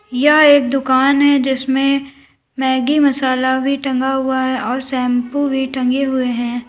यह एक दुकान हैं जिसमें मैगी मसाला भी टंगा हुआ है और शैंपू भी टंगे हुए हैं।